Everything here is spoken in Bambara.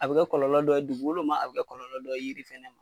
A bɛ kɛ kɔlɔlɔ dɔ ye dugukolo ma a bɛ kɛ kɔlɔlɔ dɔ ye yiri ma.